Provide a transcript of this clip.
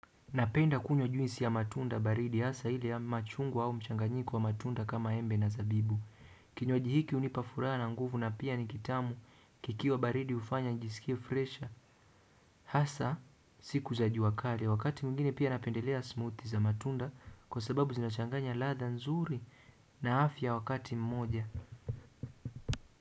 Napenda kunywa juisi ya matunda baridi, hasa ile ya machungwa au mchanganyiko wa matunda kama embe na zabibu. Kinywaji hiki hunipa furaha na nguvu na pia ni kitamu kikiwa baridi, kinafanya nijisikie fresh. Hasa, siku za jua kali, wakati mwingine pia napendelea smoothies za matunda kwa sababu zinachanganya ladha nzuri na afya wakati mmoja.